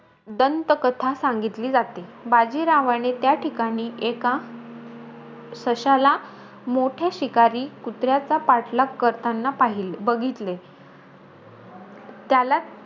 दंतकथा सांगितली जाते . बाजीरावाने, त्या ठिकाणी, एका सश्याला मोठ्या शिकारी कुत्र्याचा पाठलाग करताना पहिले बघितले. त्याला,